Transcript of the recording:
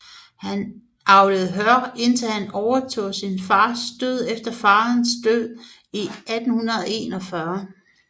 Han avlede hør indtil han overtog sin fars gård efter farens død i 1841